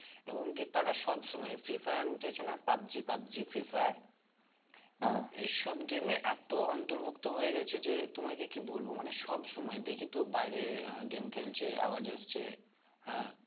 এবং কি তারা সব সময়ে Free fire উঠেছে না Pub G Pub G Free fire এই সব game এ এতো অন্তর্ভুক্ত হয়ে গেছে যে তোমাকে কি বলবো মানে সব সময় দেখি তো বাইরে আহ game খেলছে আওয়াজ আসছে হ্যাঁ